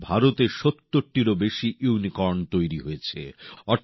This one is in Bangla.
আজ ভারতে সত্তরটিরও বেশি ইউনিকর্ন তৈরি হয়েছে